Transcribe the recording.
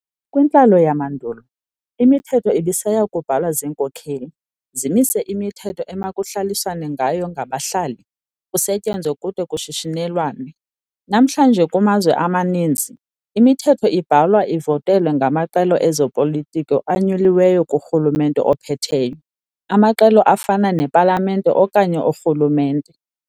Kwintlalo yamandulo, imithetho ibisaya kubhalwa ziinkokheli, zimise imithetho emakuhlaliswane ngayo ngabahlali, kusetyenzwe kude kushishinelwane. Namhlanje kumazwe amaninzi, imithetho ibhalwa ivotelwe ngamaqela ezoplitiko anyuliweyo kurhulumente ophetheyo, amaqela afana nepalamente okanye urhulumente.